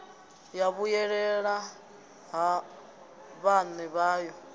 ya vhuyelela ha vhaṋe vhayo